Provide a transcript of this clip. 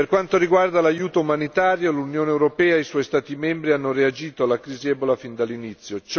Per quanto riguarda l'aiuto umanitario, l'Unione europea e i suoi Stati membri hanno reagito alla crisi Ebola fin dall'inizio.